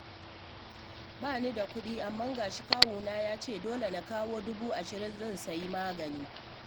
Ba ni da kuɗi, amma ga shi kawuna ya ce dole na kawo dubu ashirin zai sayi magani